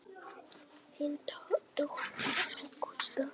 Þín dóttir, Ágústa.